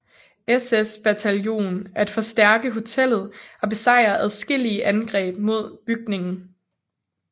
SS bataljon at forstærke hotellet og besejre adskillige angreb mod bygningen